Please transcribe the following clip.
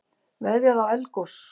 Veðjað á eldgos